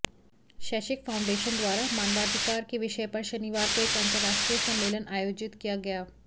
शैक्षिक फाउंडेशन द्वारा मानवाधिकार के विषय पर शनिवार को एक अंतरराष्ट्रीय सम्मेलन आयोजित किया गया